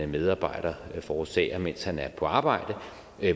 medarbejder forårsager mens han er på arbejde